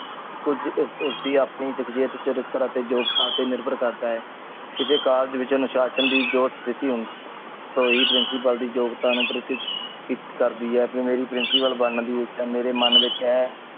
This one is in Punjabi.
ਕੁਜ ਇਸ ਉਸ ਦੀ ਆਪਣੀ ਸਕਸ਼ਿਯਤ, ਚਰਿਤ੍ਰ ਅਤੇ job ਥਾਂ ਤੇ ਨਿਰਭਰ ਕਰਦਾ ਹੈ। ਕਿਸੇ ਕਾਲਜ ਵਿਚ ਅਨੁਸ਼ਾਸ਼ਨ ਦੀ ਜੋ ਸਥਿਤੀ ਹੁੰਦੀ ਤੋਂ ਹੀ principal ਦੀ job ਥੋਨੂੰ ਪ੍ਰਸਿੱਧ ਕਰਦੀ ਹੈ। ਮੇਰੀ principal ਬਣ ਦੀ ਇੱਛਾ ਮੇਰੇ ਮਨ ਵਿਚ ਹੈ।